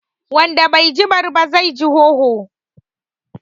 Wanda bai ji bari ba, zai ji hoho